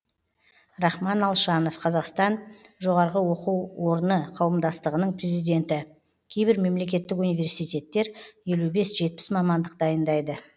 рахман алшанов қазақстан жоғарғы оқу орны қауымдастығының президенті кейбір мемлекеттік университеттер елу бес жетпіс мамандық дайындайды